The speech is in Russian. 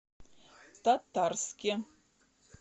татарске